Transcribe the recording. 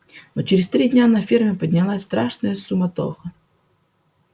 но через три дня на ферме поднялась страшная суматоха